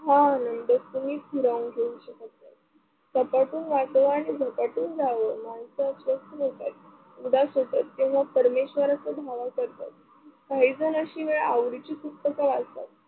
हा आनंद कुणीच हिरावून घेऊ शकत नाही. सपाटून वाटाव आणि झपाटून जाव माणसं अशीच असतात, उदास असतात तेव्हा परमेश्वराचा धावा करतात काही झाल्याशिवाय आवडीची पुस्तक वाचत